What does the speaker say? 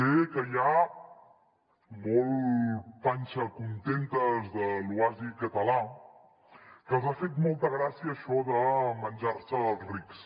sé que hi ha molt panxacontentes de l’oasi català que els ha fet molta gràcia això de menjar se els rics